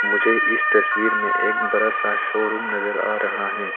मुझे इस तस्वीर में एक बड़ा सा शोरूम नजर आ रहा है।